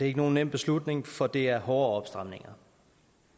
ikke nogen nem beslutning for det er hårde opstramninger